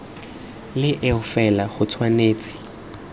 le eo fela go tshwanetse